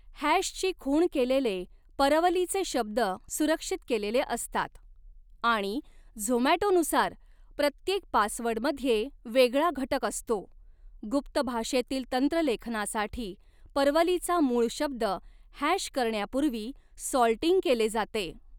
हॅशची खूण केलेले परवलीचे शब्द सुरक्षित केलेले असतात आणि झोमॅटोनुसार, प्रत्येक पासवर्डमध्ये वेगळा घटक असतो, गुप्त भाषेतील तंत्रलेखनासाठी, परवलीचा मूळ शब्द हॅश करण्यापूर्वी सॉल्टिंग केले जाते.